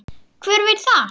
Hver veit það?